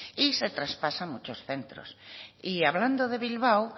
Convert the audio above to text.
y se traspasan muchos centros y hablando de bilbao